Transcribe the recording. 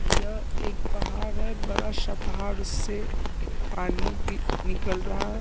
यह एक पहाड़ है बड़ा सा पहाड़ उससे पानी की निकल रहा है।